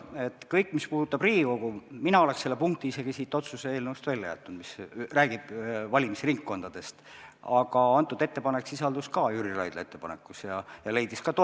Selle kõik, mis puudutab Riigikogu, selle punkti, mis räägib valimisringkondadest, oleks mina isegi siit otsuse eelnõust välja jätnud, aga see ettepanek sisaldus ka Jüri Raidla ettepanekus ja leidis toetust.